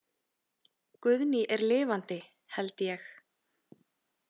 Guðný er lifandi, held ég.